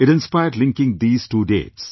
It inspired linking these two dates